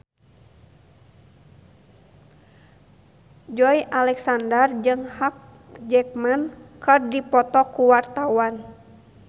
Joey Alexander jeung Hugh Jackman keur dipoto ku wartawan